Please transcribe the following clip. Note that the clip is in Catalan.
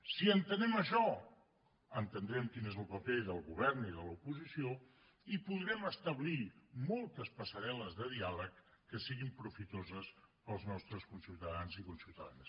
si entenem això entendrem quin és el paper del govern i de l’oposició i podrem establir moltes passarel·les de diàleg que siguin profitoses per als nostres conciutadans i conciutadanes